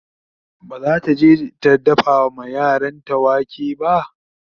bazata je ta dafa ma yaranta wake ba